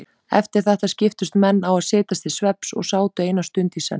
Eftir þetta skiptust menn á að setjast til svefns og sátu eina stund í senn.